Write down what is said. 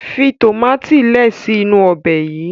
fi tomati lẹẹ si inu Ọbẹ̀ yí.